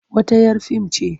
Wata 'yar fim ce.